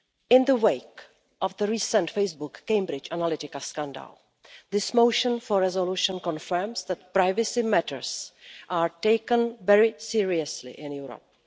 In the wake of the recent Facebook Cambridge Analytica scandal, this motion for a resolution confirms that privacy matters are taken very seriously in Europe.